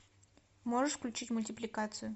можешь включить мультипликацию